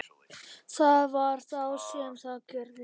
Það var þá sem það gerðist.